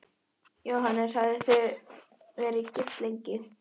Jóhannes: Hafið þið verið gift lengi?